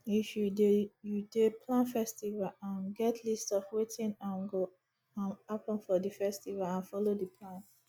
if you dey you dey plan festival um get list of wetin um go um happen for di festival and follow di plan